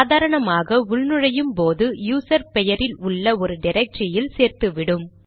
சாதாரணமாக உள் நுழையும் போது யூசர் பெயரில் உள்ள ஒரு டிரக்டரியில் சேர்த்துவிடும்